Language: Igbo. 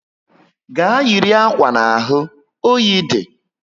Gaa yiri akwa n'ahụ! oyi dị